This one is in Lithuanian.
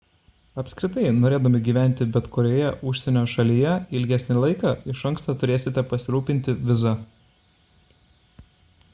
apskritai norėdami gyventi bet kurioje užsienio šalyje ilgesnį laiką iš anksto turėsite pasirūpinti viza